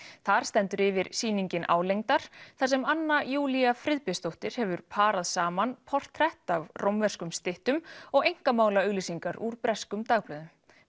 þar stendur yfir sýningin álengdar þar sem Anna Júlía Friðbjörnsdóttir hefur parað saman portrett af rómverskum styttum og einkamálaaug lýsingar úr breskum dagblöðum